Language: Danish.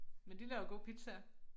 Men de laver gode pizzaer